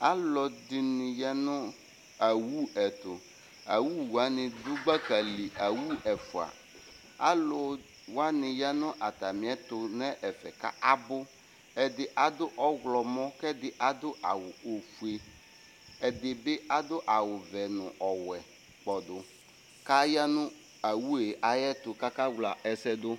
Alʋɛdɩnɩ ya nʋ awu ɛtʋ. Awu wanɩ dʋ gbaka li. Awu ɛfʋa. Alʋ wanɩ ya nʋ atamɩɛtʋ nʋ ɛfɛ kʋ abʋ. Ɛdɩ adʋ ɔɣlɔmɔ kʋ ɛdɩ adʋ awʋ ofue. Ɛdɩ bɩ adʋ awʋvɛ nʋ ɔwɛ kpɔdʋ. Aya nʋ awu yɛ ayɛtʋ kʋ akawla ɛsɛ dʋ.